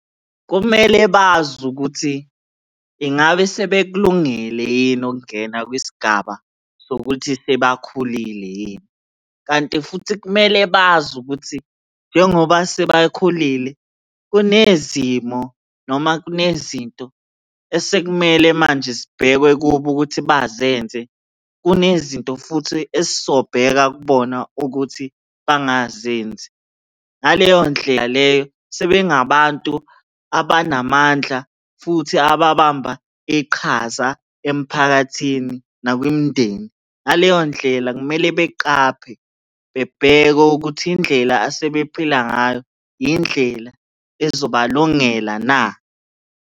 Kumele bazi ukuthi ingabe sebekulungele yini ukungena kwisigaba sokuthi sebakhulile yini kanti futhi kumele bazi ukuthi njengoba sebakhulile kunezimo noma kunezinto esekumele manje zibhekwe kubo ukuthi bazenze. Kunezinto futhi esisobheka kubona ukuthi bangazenzi. Ngaleyo ndlela leyo sebengabantu abanamandla futhi ababamba iqhaza emphakathini nakwimindeni. Ngaleyo ndlela kumele beqaphe, bebheke ukuthi indlela asebephila ngayo yindlela ezobalungela na.